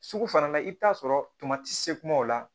Sugu fana la i bɛ t'a sɔrɔ se kuma o la